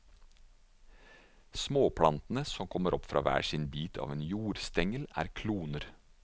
Småplantene som kommer opp fra hver bit av en jordstengel er kloner.